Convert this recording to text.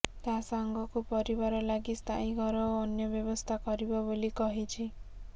ତା ସାଙ୍ଗକୁ ପରିବାର ଲାଗି ସ୍ଥାୟୀ ଘର ଓ ଅନ୍ୟ ବ୍ୟବସ୍ଥା କରିବ ବୋଲି କହିଛି